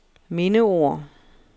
mindeord